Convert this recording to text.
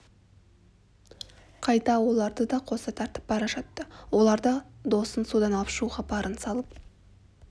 қайта оларды да қоса тартып бара жатты олар да досын судан алып шығуға барын салып